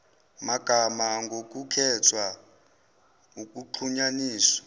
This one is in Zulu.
magama ngokukhetha ukuxhunyaniswa